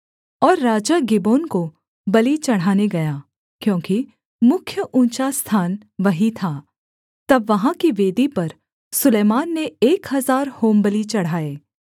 और राजा गिबोन को बलि चढ़ाने गया क्योंकि मुख्य ऊँचा स्थान वही था तब वहाँ की वेदी पर सुलैमान ने एक हजार होमबलि चढ़ाए